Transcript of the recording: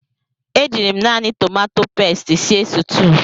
E jiiri m naanị tomato pesti sie sutuu.